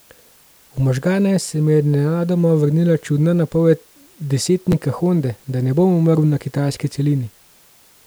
V možgane se mi je nenadoma vrnila čudna napoved desetnika Honde, da ne bom umrl na kitajski celini.